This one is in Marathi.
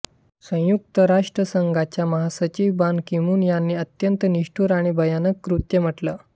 संयुक्त राष्ट्रसंघाच्या महासचिव बान कीमून यांनी ते अत्यंत निष्ठुर आणि भयानक कृत्य म्हटले